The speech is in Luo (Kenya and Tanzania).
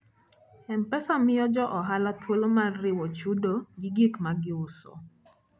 M-Pesa miyo jo ohala thuolo mar riwo chudo gi gik ma giuso.